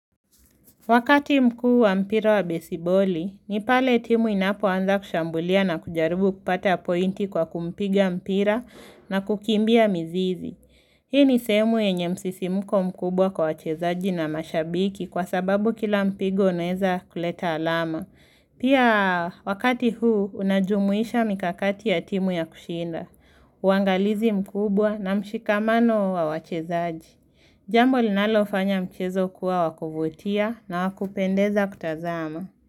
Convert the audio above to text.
Wakati mkuu wa mpira wa besiboli, ni pale timu inapoanza kushambulia na kujaribu kupata pointi kwa kupiga mpira na kukimbia mizizi. Hii ni sehemu yenye msisimuko mkubwa kwa wachezaji na mashabiki kwa sababu kila mpigo unaeza kuleta alama. Pia wakati huu, unajumuisha mikakati ya timu ya kushinda. Uangalizi mkubwa na mshikamano wa wachezaji. Jambo linalofanya mchezo kuwa wa kuvutia na wakupendeza kutazama.